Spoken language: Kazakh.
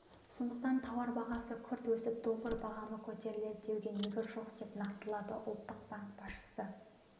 сондықтан тауар бағасы күрт өсіп доллар бағамы көтеріледі деуге негіз жоқ деп нақтылады ұлттық банк басшысы